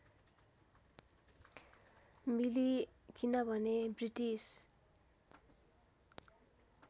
मिली किनभने ब्रिटिस